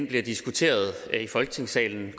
bliver diskuteret i folketingssalen